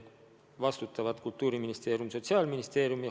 Vastutavad Kultuuriministeerium ja Sotsiaalministeerium.